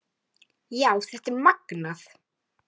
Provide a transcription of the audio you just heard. Já, þetta er magnað.